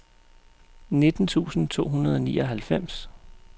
nitten tusind to hundrede og nioghalvfems